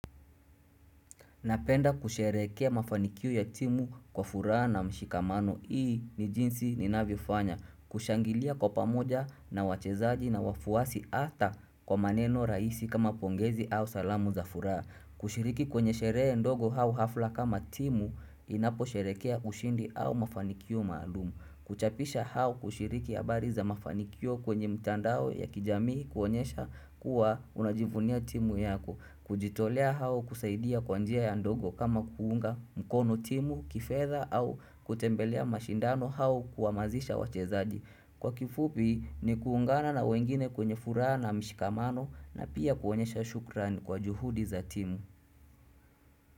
Napenda kusherekea mafanikio ya timu kwa furaha na mshikamano. Hii ni jinsi ninavyofanya. Kushangilia kwa pamoja na wachezaji na wafuasi hata kwa maneno rahisi kama pongezi au salamu za furaha. Kushiriki kwenye sherehe ndogo au hafla kama timu inaposherehekea ushindi au mafanikio maalumu. Kuchapisha au kushiriki habari za mafanikio kwenye mtandao ya kijamii kuonyesha kuwa unajivunia timu yako. Kujitolea au kusaidia kwa njia ya ndogo kama kuunga mkono timu, kifedha au kutembelea mashindano au kuhamasisha wachezaji Kwa kifupi ni kuungana na wengine kwenye furaha na mshikamano na pia kuonyesha shukrani kwa juhudi za timu.